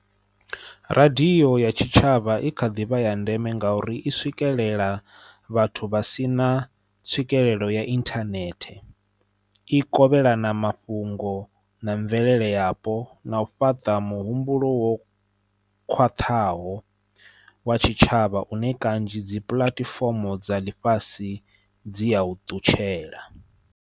Radio ya tshitshavha i kha ḓi vha ya ndeme nga uri i swikelela vhathu vha si na tswikelelo ya inthanethe, i kovhelana mafhungo na mvelele yapo na u fhaṱa muhumbulo wo khwaṱhaho wa tshitshavha une kanzhi dzi puḽatifomo dza ḽifhasi dzi ya u ṱutshela.